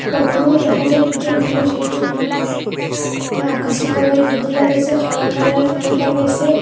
ফটোর মধ্যে দেহা যায় দুইজন মানুষ একজন মানুষ ইয়ে আকাশি কালারের গেঞ্জি লাগাইসে খালা কালারের প্যান্ট লাগাইসে।